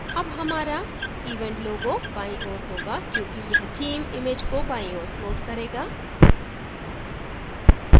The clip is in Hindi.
अब हमारा event logo बाईं ओर होगा क्योंकि यह theme इमैज को बाईं ओर floats करेगा